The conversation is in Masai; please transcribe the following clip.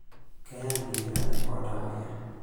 Kenyaanyuk nkilani ooltamwoyia.